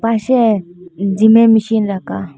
পাশে জিমের মেশিন রাকা ।